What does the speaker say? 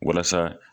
Walasa